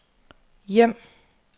hjem